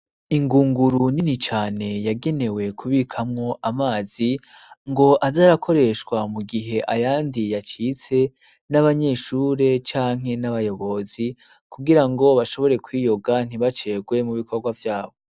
Ingunguru nini cane, yagenewe kubikamwo amazi ,ngo azarakoreshwa mu gihe ayandi yacitse ,n'abanyeshure canke n'abayobozi kugira ngo bashobore kwiyoga ntibacegwe mu bikorwa vyabo.